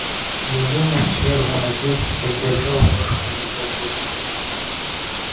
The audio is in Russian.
я думаю сэр мой отец поддержал вашу кандидатуру